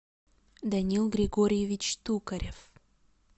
даниил григорьевич токарев